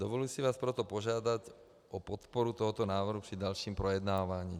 Dovoluji si vás proto požádat o podporu tohoto návrhu při dalším projednávání.